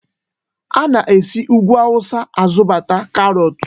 Ana-esi Úgwù Awụsa azụta karọọtụ.